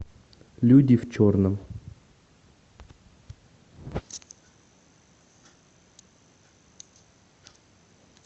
люди в черном